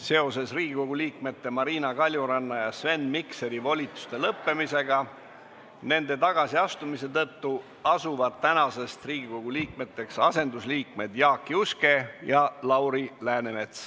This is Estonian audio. Seoses Riigikogu liikmete Marina Kaljuranna ja Sven Mikseri volituste lõppemisega nende tagasiastumise tõttu asuvad tänasest Riigikogu liikmeteks asendusliikmed Jaak Juske ja Lauri Läänemets.